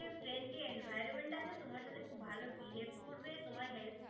Friendly environment আছে, তোমার সাথে খুব ভাল behave করবে. তোমায় help